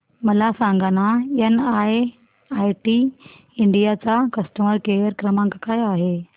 मला सांगाना NIIT India चा कस्टमर केअर क्रमांक काय आहे